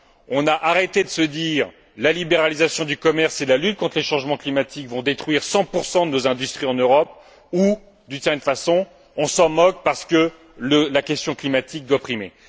On a arrêté de se dire que la libéralisation du commerce et la lutte contre les changements climatiques vont détruire 100 de nos industries en Europe où, d'une certaine façon, on s'en moque parce que la question climatique doit primer.